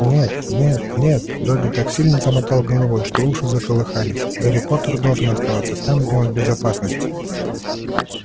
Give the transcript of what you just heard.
нет-нет-нет добби так сильно замотал головой что уши заколыхались гарри поттер должен оставаться там где он в безопасности